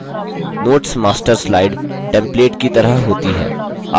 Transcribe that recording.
notes master slide template की तरह होती है